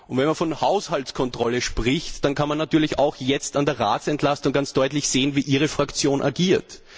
Und wenn man von Haushaltskontrolle spricht, dann kann man natürlich auch jetzt an der Entlastung des Rates ganz deutlich sehen, wie ihre Fraktion agiert.